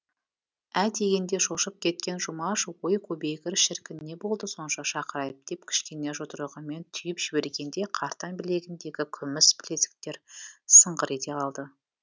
ә дегенде шошып кеткен жұмаш өй көбейгір шіркін не болды сонша шақырайып деп кішкене жұдырығымен түйіп жібергенде қартаң білегіндегі күміс білезіктер сыңғыр ете қалды